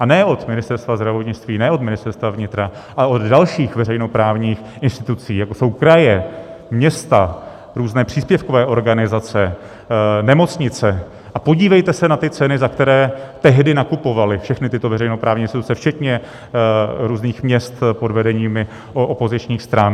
A ne od Ministerstva zdravotnictví, ne od Ministerstva vnitra, ale od dalších veřejnoprávních institucí, jako jsou kraje, města, různé příspěvkové organizace, nemocnice, a podívejte se na ty ceny, za které tehdy nakupovaly všechny tyto veřejnoprávní instituce včetně různých měst pod vedeními opozičních stran.